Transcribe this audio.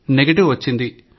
negative వచ్చింది